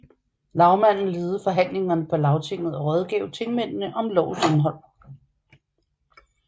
Lagmanden ledede forhandlingerne på lagtinget og rådgav tingmændene om lovens indhold